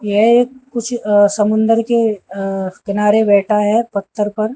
यह एक कुछ अ समुन्दर के अ किनारे बैठा है पत्थर पर।